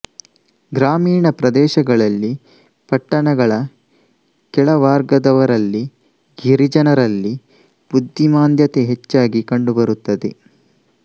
ಗ್ರಾಮೀಣ ಪ್ರದೇಶಗಳಲ್ಲಿ ಪಟ್ಟಣಗಳ ಕೆಳವಾರ್ಗದವರಲ್ಲಿ ಗಿರಿಜನರಲ್ಲಿ ಬುದ್ದಿಮಾಂದ್ಯತೆ ಹೆಚ್ಚಾಗಿ ಕಂಡುಬರುತ್ತದೆ